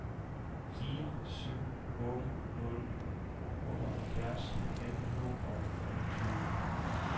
fire syv otte nul otteoghalvtreds fem hundrede og femogtyve